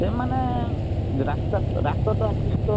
ସେମାନେ ରାସ୍ତା ରାସ୍ତାତ at least ତ